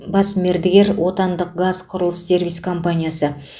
бас мердігер отандық қазқұрылыссервис компаниясы